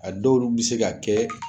A dɔw lu bi se ka kɛ